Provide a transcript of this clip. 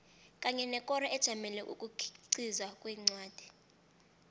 kanye nekoro ejamele ukukhiqiza kwencwadi